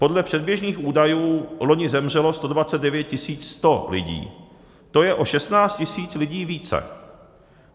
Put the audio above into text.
Podle předběžných údajů loni zemřelo 129 100 lidí, to je o 16 000 lidí více.